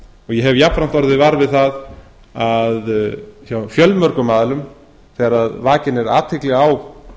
hef jafnframt orðið var við það hjá fjölmörgum aðilum þegar vakin er athygli á